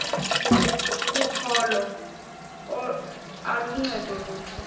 kokholo aluncedi lutho